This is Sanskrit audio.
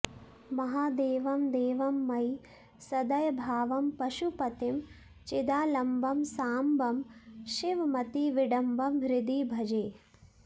महादेवं देवं मयि सदयभावं पशुपतिं चिदालम्बं साम्बं शिवमतिविडम्बं हृदि भजे